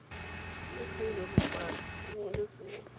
ke sebebofatsi sengwe le sengwe